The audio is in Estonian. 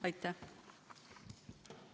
Aitäh!